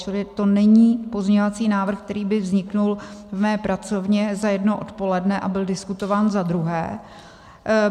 Čili to není pozměňovací návrh, který by vznikl v mé pracovně za jedno odpoledne, a byl diskutován, za druhé.